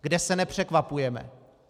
Kde se nepřekvapujeme.